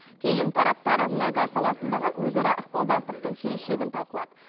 кейін тараптар мұнай газ саласындағы өзара ықпалдастықтың келешегін талқылады